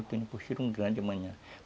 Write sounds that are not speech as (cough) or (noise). Eu tenho um (unintelligible) grande amanhã.